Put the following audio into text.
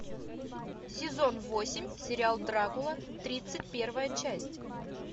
сезон восемь сериал дракула тридцать первая часть